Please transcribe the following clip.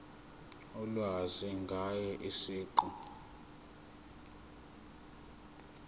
ulwazi ngaye siqu